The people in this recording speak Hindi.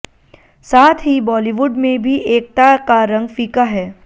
साथ ही बॅालीवुड में भी एकता का रंग फीका है